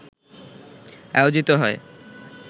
আয়োজিত হয়